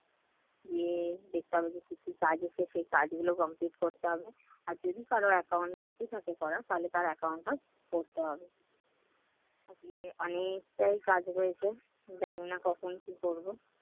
গিয়ে দেখতে হবে যে কি কি কাজ আছে সে কাজগুলো complete করতে হবে, আর যদি কারো account বাকি থাকে করা তাহলে তার account টা করতে হবে। আসলে অনেকটাই কাজ রয়েছে। জানি না কখন কি করব।